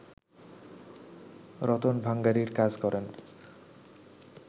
রতন ভাঙাড়ির কাজ করেন